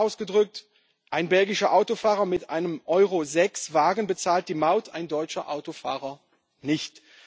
Oder einfach ausgedrückt Ein belgischer Autofahrer mit einem Euro 6 Wagen bezahlt die Maut, ein deutscher Autofahrer nicht.